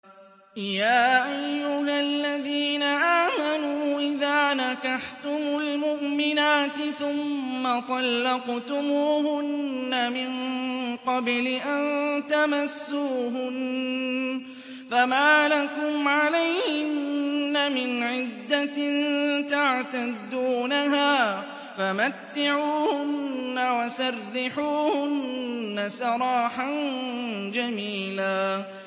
يَا أَيُّهَا الَّذِينَ آمَنُوا إِذَا نَكَحْتُمُ الْمُؤْمِنَاتِ ثُمَّ طَلَّقْتُمُوهُنَّ مِن قَبْلِ أَن تَمَسُّوهُنَّ فَمَا لَكُمْ عَلَيْهِنَّ مِنْ عِدَّةٍ تَعْتَدُّونَهَا ۖ فَمَتِّعُوهُنَّ وَسَرِّحُوهُنَّ سَرَاحًا جَمِيلًا